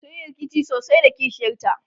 sunyi rikici sosai da kishiyar ta